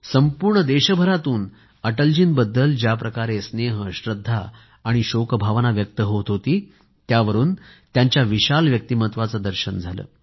संपूर्ण देशभरातून अटलजींबद्दल ज्या प्रकारे स्नेह श्रद्धा आणि शोक भावना व्यक्त होत होती त्यावरून त्यांच्या विशाल व्यक्तित्वाचे दर्शन झाले